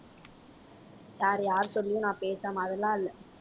வேற யார் சொல்லியும் நான் பேசாம அதெல்லாம் இல்லை